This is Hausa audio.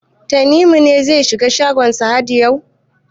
Tanimu ne zai shiga shagon Sahad yau?